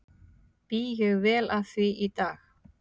Bý ég vel að því í dag.